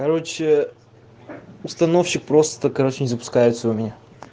короче установщик просто короче не запускается у меня